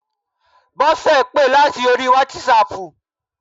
Bọ́sẹ̀ pè láti orí wátísapù